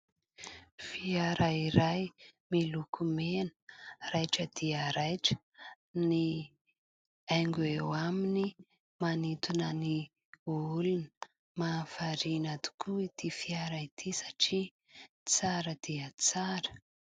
Fiara iray miloko mena, raitra dia raitra, ny haingo eo aminy manintona ny olona. Mahavariana tokoa ity fiara ity satria tsara dia tsara.